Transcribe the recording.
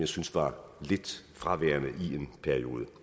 synes var lidt fraværende i en periode